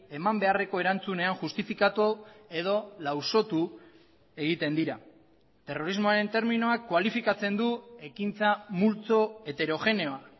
eman beharreko erantzunean justifikatu edo lausotu egiten dira terrorismoaren terminoak kualifikatzen du ekintza multzo heterogeneoa